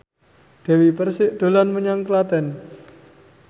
Dewi Persik dolan menyang Klaten